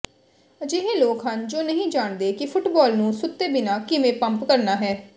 ਅਜਿਹੇ ਲੋਕ ਹਨ ਜੋ ਨਹੀਂ ਜਾਣਦੇ ਕਿ ਫੁੱਟਬਾਲ ਨੂੰ ਸੁੱਤੇ ਬਿਨਾਂ ਕਿਵੇਂ ਪੰਪ ਕਰਨਾ ਹੈ